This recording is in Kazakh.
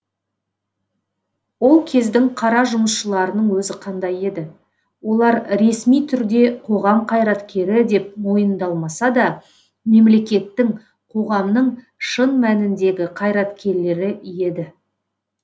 ол кездің қара жұмысшыларының өзі қандай еді олар ресми түрде қоғам қайраткері деп мойындалмаса да мемлекеттің қоғамның шын мәніндегі қайраткерлері еді